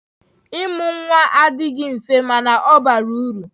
Ịmụ nwa adịghị mfe mana ọ bara uru.